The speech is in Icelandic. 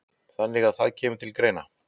Þannig að það kemur til greina?